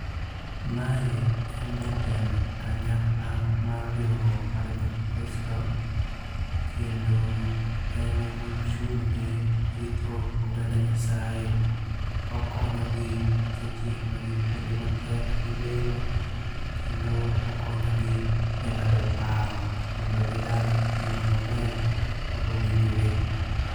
Mae en jatend kanyakla mar riwruok mar jokristo. Kendo ene mochung' ne rito oganda Nyasaye. Okonyogi seche magin kuonde matek gi lemo. Kendo okonyi gi e ng'ado paro mondo gidag ngima maber ma owinjore.